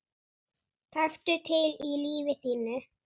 Taktu til í lífi þínu!